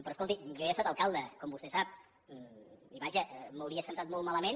però escolti jo he estat alcalde com vostè sap i vaja m’hauria sentat molt malament